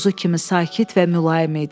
Quzu kimi sakit və mülayim idi.